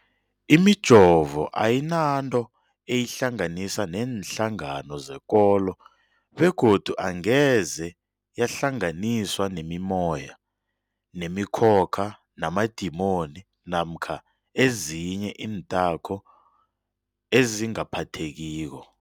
Imijovo ayinanto eyihlanganisa neenhlangano zekolo begodu angeze yahlanganiswa nemimoya, nemi khokha, namadimoni namkha ezinye iinthako ezingaphathekiko.